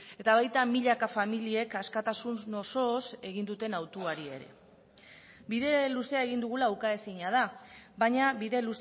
eta baita milaka familiek askatasun osoz egin duten hautuari ere bide luzea egin dugula ukaezina da baina bide